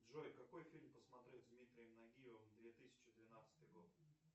джой какой фильм посмотреть с дмитрием нагиевым две тысячи двенадцатый год